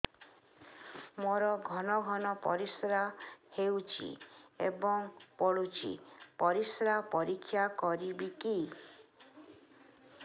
ମୋର ଘନ ଘନ ପରିସ୍ରା ହେଉଛି ଏବଂ ପଡ଼ୁଛି ପରିସ୍ରା ପରୀକ୍ଷା କରିବିକି